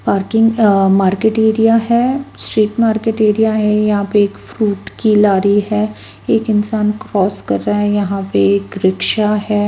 Parking uh market area है street market area है यहाँ पे एक फ्रूट की लारी है एक इंसान क्रॉस कर रहा है यहाँ पे एक रिक्शा है।